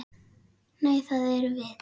Nei, það erum við.